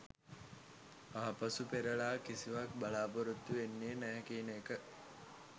ආපසු පෙරළා කිසිවක් බලා‍පොරොත්තු වෙන්නේ නැහැ කියන එක